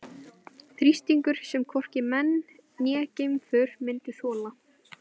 Þrýstingur sem hvorki menn né geimför myndu þola.